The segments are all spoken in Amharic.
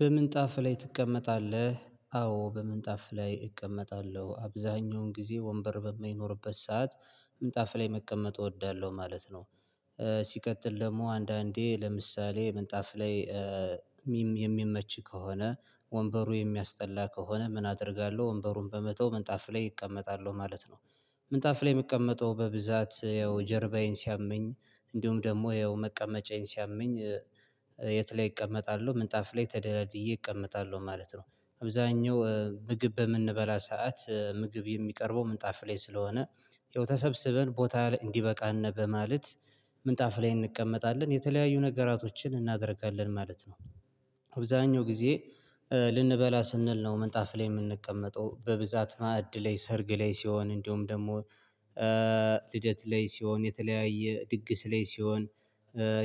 በምንጣፍ ላይ ትቀመጣለህ አዎ በምንጣፍ ላይ እቀመጣለሁ አብዛኛውን ጊዜ ወንበር በማይኖርበት ሰዓት ምንጣፍ ላይ መቀመጥ እወዳለሁ ማለት ነው። ሲቀጥል ደግሞ አንዳንዴ ለምሳሌ ምንጣፍ ላይ የሚመች ከሆነ ወንበሩ የሚያስጠላ ከሆነ ምን አደርጋለሁ ወንበሩን በመተው ምንጣፍ ላይ እቀመጣለሁ ማለት ነው። ምንጣፍ ላይ እምቀመጠው በብዛት ያው ጀርባዬን ሲያመኝ እንዲሁም ደግሞ ያው መቀመጫዬን ሲያመኝ የት ላይ እቀመጣለሁ ምንጣፍ ላይ ተደላድዬ እቀመጣለሁ ማለት ነው። አብዛኛው ምግብ በምንበላ ሰዓት ምግብ የሚቀርበው ምጣፍ ላይ ስለሆነ ያው ተሰብስበን ቦታ ላይ እንዲበቃን በማለት ምንጣፍ ላይ እንቀመጣለን የተለያዩ ነገራቶችን እናደርጋለን ማለት ነው። አብዛኛው ጊዜ ልንበላ ስንል ነው ምንጣፍ ላይ እምንቀመጠው በብዛት ማዕድ ላይ ሰርግ ላይ ሲሆን እንደሁም ደግሞ ልደት ላይ ሲሆን የተለያየ ድግስ ላይ ሲሆን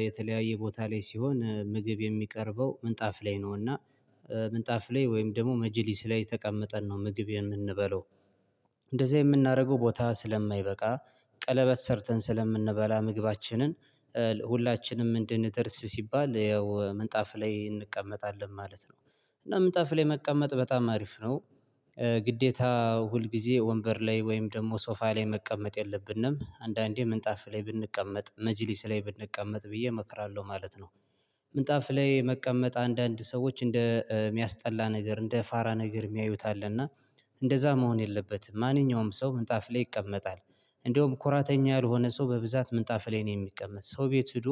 የተለያየ ቦታ ላይ ሲሆን ምግብ የሚቀርበው ምንጣፍ ላይ ነውና ምንጣፍ ላይ ወይም ደግሞ መጀሊስ ላይ ተቀመጠን ነው ምግብ የምንበላው። እንደዚያ የምናደርገው ቦታ ስለማይበቃ ቀለበት ሰርተን ስለምንበላ ምግባችንን ሁላችንም እንድንደርስ ሲባል ያው ምንጣፍ ላይ እንቀመጣለን ማለት ነው። እና ምንጣፍ ላይ መቀመጥ በጣም አሪፍ ነው ግዴታ ሁል ጊዜ ወንበር ላይ ወይም ደግሞ ሶፋ ላይ መቀመጥ የለብንም አንዳንዴ ምንጣፍ ላይ ብንቀመጥ መጅሊስ ላይ ብንቀመጥ ብዬ እመክራለሁ ማለት ነው። ምንጣፍ ላይ መቀመጥ አንዳንድ ሰዎች እንደ እሚያስጠላ ነገር እንደ ፋራ ነገር እሚያዩት አለ እና። እንደዛ መሆን የለበትም ማንኛውም ሰው ምንጣፍ ላይ ይቀመጣል። እንዲያም ኮራተኛ ያልሆነ ሰው በብዛት ምንጣፍ ላይ ነው የሚቀመጥ ሰው ቤት ሄዶ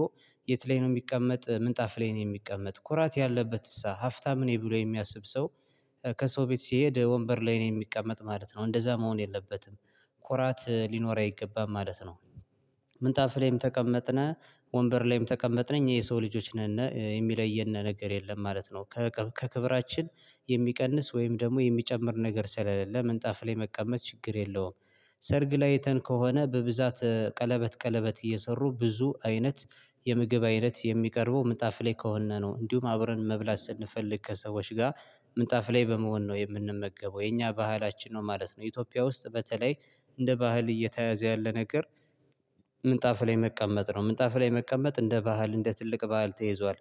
የት ላይ ነው እሚቀመጥ ምንጣፍ ላይ ነው እሚቀመጥ ኩራት ያለበት እሳ ሀፍታም ነኝ ብሎ የሚያስብ ሰው። ከሰው ቤት ሲሄድ ወንበር ላይ ነው እሚቀመጥ ማለት ነው እንደዛ መሆን የለበትም። ኮራት ሊኖር አይገባም ማለት ነው። ምንጣፍ ላይም ተቀመጥን ወንበር ላይም ተቀመጥን እኛ የሰው ልጆች ነን የሚለየን ነገር የለም ማለት ነው። ከክብራችን የሚቀንስ ወይም ደግሞ የሚጨምር ነገር ስለሌለ ምንጣፍ ላይ መቀመጥ ችግር የለውም። ሰርግ ላይ አየተን ከሆነ በብዛት ቀለበት ቀለበት እየሰሩ ብዙ አይነት የምግብ አይነት የሚቀርበው ምንጣፍ ላይ ከሆነ ነው እንዲሁም አብረን መብላት ስንፈልግ ከሰዎች ጋር ምንጣፍ ላይ በመሆን ነው የምንመገበው የኛ ባህላችን ነው ማለት ነው። ኢትዮጵያ ውስጥ በተለይ እንደ ባህል እየተያዘ ያለ ነገር ምንጣፍ ላይ መቀመጥ ነው ምንጣፍ ላይ መቀመጥ እንደ ባህል እንደ ትልቅ ባህል ተይዟል።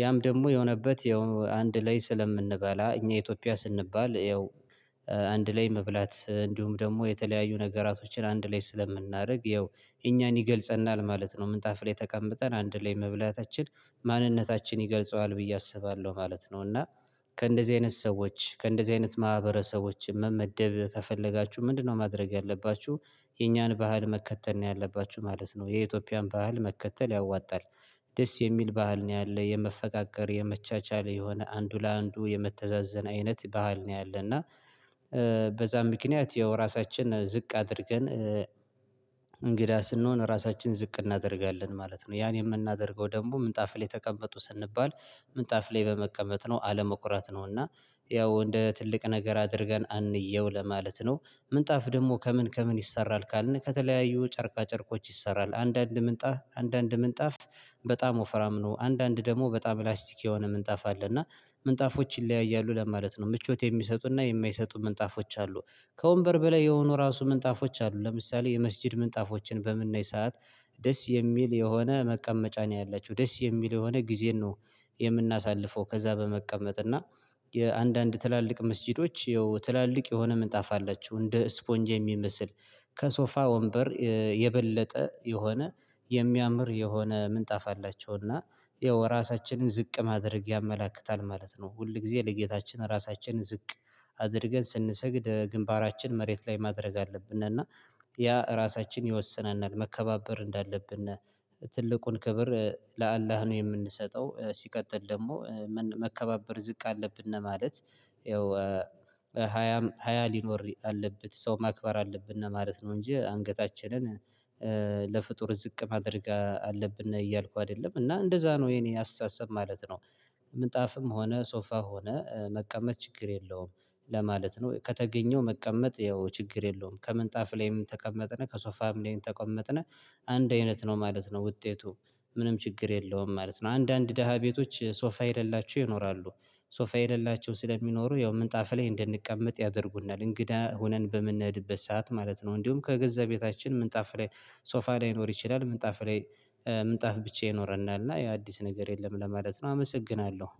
ያም ደግሞ የሆነበት ያው አንድ ላይ ስለምንበላ እኛ ኢትዮጵያ ስንባል ያው አንድ ላይ መብላት እንዲሁም ደግሞ የተለያዩ ነገራቶችን አንድ ላይ ስለምናደርግ ያው እኛን ይገልጸናል ማለት ነው ምንጣፍ ላይ ተቀምጠን አንድ ላይ መብላታችን ማንነታችን ይገልጸዋል ብዬ አስባለሁ ማለት ነው። እና ከእንደዚህ አይነት ሰዎች ከእንደዚህ አይነት ማህበረሰቦች ማህበረሰቦችን መመደብ ከፈለጋችሁ ምንድነው ማድረግ ያለባችሁ? የኛን ባህል መከተል ያለባችሁ ማለት ነው የኢትዮጵያን ባህል መከተል ያዋጣል። ደስ የሚል ባህል ነው ያለ የመፈቃቀር የመቻቻል የሆነ አንዱ ለአንዱ የመተዛዘን አይነት ባህል ነው ያለና። በዛ ምክንያት ያው ራሳችን ዝቅ አድርገን እንግዳ ስንሆን ራሳችንን ዝቅ እናደርጋለን ማለት ነው ያን የምናደርገው ደግሞ ምንጣፍ ላይ ተቀመጡ ስንባል ምንጣፍል ላይ በመቀመጥ ነው አለመኩራት ነው እና ያው እንደ ትልቅ ነገር አድርገን አንየው ለማለት ነው። ምንጣፍ ደግሞ ከምን ከምን ይሰራል ካልን ከተለያዩ ጨርቃ ጨርቆች ይሰራል አንዳንድ ምንጣፍ አንዳንድ ምንጣፍ በጣም ወፍራም ነው አንዳንድ ደግሞ በጣም ላስቲክ የሆነ ምንጣፍ አለ እና ምንጣፎች ይለያያሉ ለማለት ነው ምቾት የሚሰጡና የማይሰጡ ምንጣፎች አሉ። ከወንበር በላይ የሆኑ ራሱ ምንጣፎች አሉ ለምሳሌ የመስጊድ ምንጣፎችን በምናይ ሰዓት ደስ የሚል የሆነ መቀመጫ ነው ያላቸው ደስ የሚል የሆነ ጊዜን ነው የምናሳልፈው ከዛ በመቀመጥ እና የአንዳንድ ትላልቅ መስጊዶች ትላልቅ የሆነ ምንጣፋ አላችሁ እንደ ስፖንጅ የሚመስል ከሶፋ ወንበር የበለጠ የሆነ የሚያምር የሆነ ምንጣፍ አላቸው እና ያው ራሳችንን ዝቅ ማድረግ ያመላክታል ማለት ነው። ሁል ጊዜ ለጌታችን ራሳችንን ዝቅ አድርገን ስንሰግድ ግንባራችን መሬት ላይ ማድረግ አለብን ያ እራሳችን ይወስነናል መከባበር እንዳለብን ትልቁን ክብር ለአላህ ነው የምንሰጠው ሲቀጥል ደግሞ መከባበር ዝቅ አለብን ማለት ያው ሀያም ሃያ ሊኖር አለበት ሰው ማክበር አለብን እና ማለት ነው እንጂ አንገታችንን ለፍጡር ዝቅ ማድረግ አለብን እያልኩ አይደለም እና እንደዛ ነው የኔ አስተሳሰብ ማለት ነው። ምንጣፍም ሆነ ሶፋ ሆነ መቀመጥ ችግር የለውም። ለማለት ነው ከተገኘው መቀመጥ ያው ችግር የለውም ከምንጣፍ ላይም ተቀመጥን ከሶፋም ላይም ተቀመጥን አንድ አይነት ነው ማለት ነው ውጤቱ ምንም ችግር የለውም ማለት ነው። አንዳንድ ደሃ ቤቶች ሶፋ የሌላቸው ይኖራሉ። ሶፋ የሌላቸው ስለሚኖሩ ያው ምንጣፍ ላይ እንደንቀመጥ ያደርጉናል እንግዳ ሆነን በምንነድበት ሰዓት ማለት ነው እንዲሁም ከገዛ ቤታችን ምንጣፍ ላይ ሶፋ ላይኖር ይችላል ምንጣፍ ላይ ምንጣፍ ብቻ ይኖረናል እና ያው አዲስ ነገር የለም ለማለት ነው። አመሰግናለሁ